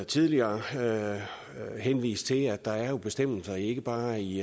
tidligere henvise til at der jo er bestemmelser ikke bare i